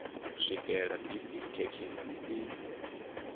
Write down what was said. u swikela bisi thekhisi i